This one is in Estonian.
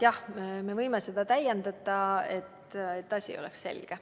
Jah, me võime seda täiendada, et asi oleks selge.